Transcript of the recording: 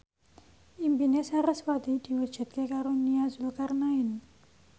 impine sarasvati diwujudke karo Nia Zulkarnaen